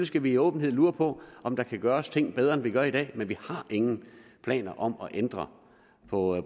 skal vi i åbenhed lure på om der kan gøres ting bedre end vi gør i dag men vi har ingen planer om at ændre på